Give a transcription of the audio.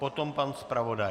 Potom pan zpravodaj.